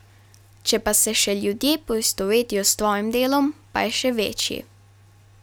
Če pa se še ljudje poistovetijo s tvojim delom, pa je še večji.